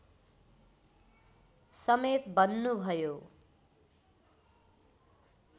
समेत बन्नुभयो